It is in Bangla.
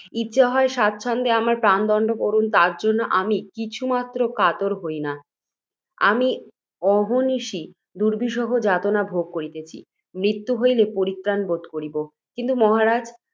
ইচ্ছা হয়, সচ্ছন্দে আমার প্রাণদণ্ড করুন, তজ্জন্য আমি কিছুমাত্র কাতর হই না। আমি অহর্নিশ দুর্বিষহ যাতনা ভোগ করিতেছি, মৃত্যু হইলে পরিত্রাণ বোধ করিব। কিন্তু, মহারাজ!